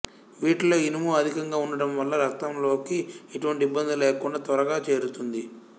వీటిల్లో ఇనుము అధికంగా ఉండటం వల్ల రక్తంలోకి ఎటువంటి ఇబ్బంది లేకుండా త్వరగా చేరుతుంది